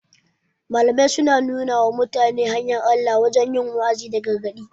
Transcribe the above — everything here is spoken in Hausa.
Malamai suna nuna wa mutane hanyar Allah ta wajen yi wa'azi da gargaɗi